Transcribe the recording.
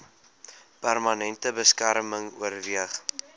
permanente beskerming oorweeg